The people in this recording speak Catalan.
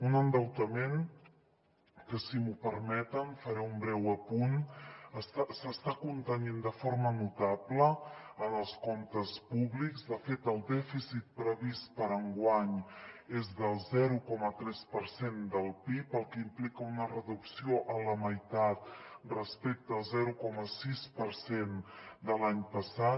un endeutament que si m’ho permeten en faré un breu apunt s’està contenint de forma notable en els comptes públics de fet el dèficit previst per a enguany és del zero coma tres per cent del pib cosa que implica una reducció a la meitat respecte al zero coma sis per cent de l’any passat